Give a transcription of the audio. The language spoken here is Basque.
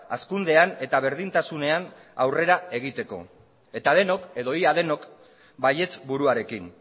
hazkundean eta berdintasunean aurrera egiteko eta denok edo ia denok baietz buruarekin